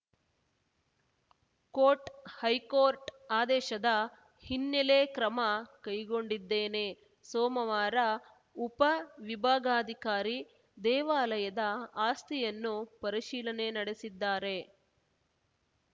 coat high court ಆದೇಶದ ಹಿನ್ನೆಲೆ ಕ್ರಮ ಕೈಗೊಂಡಿದ್ದೇನೆ ಸೋಮವಾರ ಉಪ ವಿಭಾಗಾಧಿಕಾರಿ ದೇವಾಲಯದ ಆಸ್ತಿಯನ್ನು ಪರಿಶೀಲನೆ ನಡೆಸಿದ್ದಾರೆ